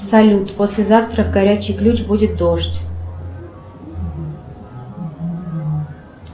салют послезавтра горячий ключ будет дождь